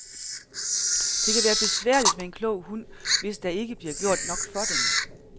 Det kan være besværligt med en klog hund, hvis der ikke bliver gjort nok for den.